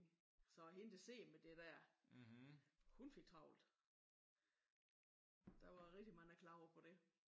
Så hende der sidder med det der hun fik travlt. Der var rigtig mange der klagede på det